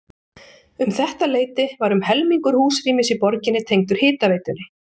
Um þetta leyti var um helmingur húsrýmis í borginni tengdur hitaveitunni.